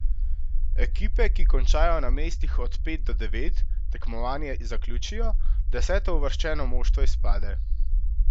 Ekipe, ki končajo na mestih od pet do devet, tekmovanje zaključijo, desetouvrščeno moštvo izpade.